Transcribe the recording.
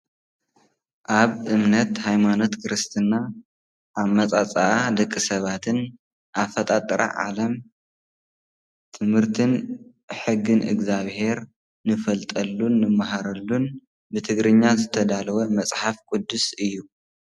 ኣብ እምነት ሃይማኖት ክርስትና ኣመጻጽኣ ደቂ-ሰባትን ኣፈጣጥራ ዓለም ትምርትን ሕግን እግዝኣቢሄር ንፈልጠሉን ንመሃረሉን ብትግርኛ ዘተዳለው መፅሓፍ ቅዱስ እዩ ።